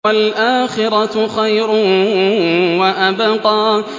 وَالْآخِرَةُ خَيْرٌ وَأَبْقَىٰ